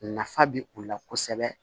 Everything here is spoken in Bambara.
Nafa bɛ u la kosɛbɛ